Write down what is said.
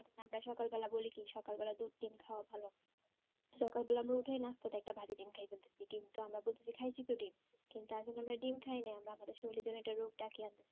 আমরা সকাল বেলা বলি কি সকাল বলা দুধ ডিম্ খাওয়া ভালো সকাল বেলায় আমরা উঠে নাস্তাতেই একটা ভাজি ডিম্ খাইয়ে ফেলতেছি কিন্তু আমরা বোধয় খাইছি তো ডিম্ কিন্তু আসলে আমরা ডিম্ খাই না আমরা আমাদের শরীরে এর জন্য একটা রোগ ডাকে আনতাছি